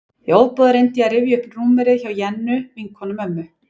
Í ofboði reyndi ég að rifja upp númerið hjá Jennu, vinkonu mömmu.